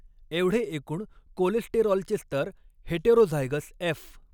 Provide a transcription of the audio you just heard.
एवढे एकूण कोलेस्टेरॉलचे स्तर हेटेरोझायगस एफ.